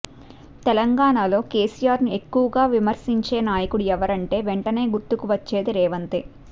తెలంగాణా లో కేసిఆర్ ను ఎక్కువగా విమర్శించే నాయకుడు ఎవరంటే వెంటనే గుర్తుకు వచ్చేది రేవంతే